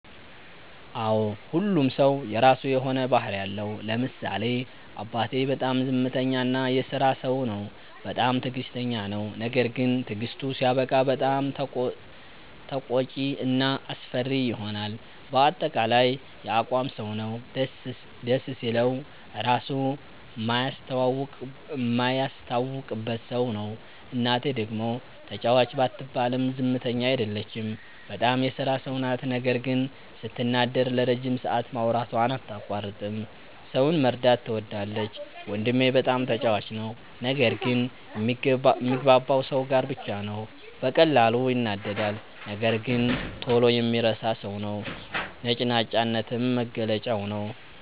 አዎ ሁሉም ሠው የራሱ የሆነ ባህርይ አለው። ለምሳሌ አባቴ፦ በጣም ዝምተኛ እና የስራ ሠው ነው። በጣምም ትግስተኛ ነው። ነገርግን ትግስቱ ሲያበቃ በጣም ተቆጭ እና አስፈሪ ይሆናል በአጠቃላይ የአቋም ሠው ነው። ደስ ሲለው ራሡ ማያስታውቅበት ሠው ነው። እናቴ፦ ደግሞ ተጫዋች ባትባልም ዝምተኛ አይደለችም። በጣም የስራ ሠው ናት ነገር ግን ስትናደድ ለረጅም ሠአት ማውራቷን አታቋርጥም። ሠውን መርዳት ትወዳለች። ወንድሜ፦ በጣም ተጫዋች ነው። ነገር ግን ሚግባባው ሠው ጋር ብቻ ነው። በቀላሉ ይናደዳል ነገር ግን ቶሎ የሚረሣ ሠው ነው። ነጭናጫነትም መገለጫው ነዉ።